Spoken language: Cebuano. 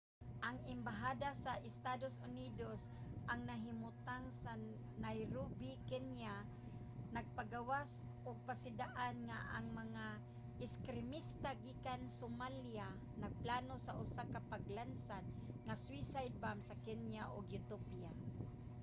ang embahada sa estados unidos nga nahimutang sa nairobi kenya nagpagawas ug pasidaan nga ang mga ekstremista gikan somalia nagplano sa usa ka paglansad nga suicide bomb sa kenya ug ethiopia